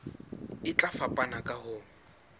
e tla fapana ka ho